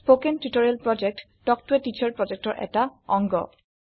কথন শিক্ষণ প্ৰকল্প তাল্ক ত a টিচাৰ প্ৰকল্পৰ এটা অংগ